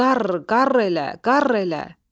"Qarr, qarr elə, qarr elə!"